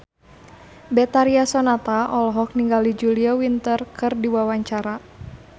Betharia Sonata olohok ningali Julia Winter keur diwawancara